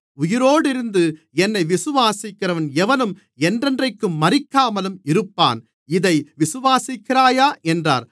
உயிரோடிருந்து என்னை விசுவாசிக்கிறன் எவனும் என்றென்றைக்கும் மரிக்காமலும் இருப்பான் இதை விசுவாசிக்கிறாயா என்றார்